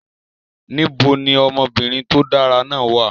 Níbo ni ọmọbìnrin tó dára náà wà?